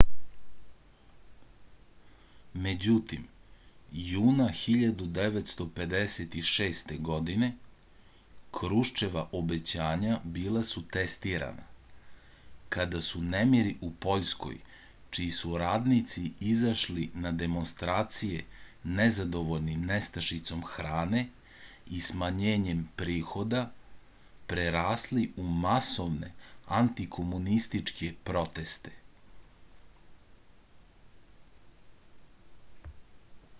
međutim juna 1956. godine kruščeva obećanja bila su testirana kada su nemiri u poljskoj čiji su radnici izašli na demonstracije nezadovoljni nestašicom hrane i smanjenjem prihoda prerasli u masovne antikomunističke proteste